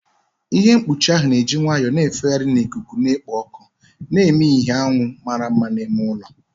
Ihe mkpuchi ahụ na-eji nwayọọ na-efegharị na ikuku na-ekpo ọkụ, na-eme ka ìhè anyanwụ mara mma n'ime ụlọ ahụ.